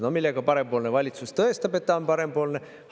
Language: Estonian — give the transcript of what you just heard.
No millega parempoolne valitsus tõestab, et ta on parempoolne?